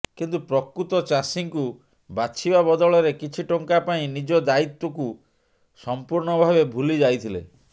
କିନ୍ତୁ ପ୍ରକୃତ ଚାଷୀଙ୍କୁ ବାଛିବା ବଦଳରେ କିଛି ଟଙ୍କା ପାଇଁ ନିଜ ଦାୟିତ୍ୱକୁ ସମ୍ପୂର୍ଣ୍ଣ ଭାବେ ଭୁଲି ଯାଇଥିଲେ